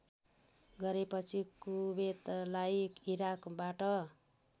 गरेपछि कुबेतलाई इराकबाट